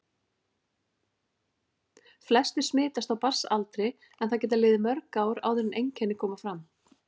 Flestir smitast á barnsaldri en það geta liðið mörg ár áður en einkenni koma fram.